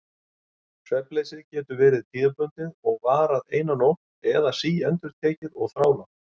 Svefnleysið getur verið tímabundið og varað eina nótt eða síendurtekið og þrálátt.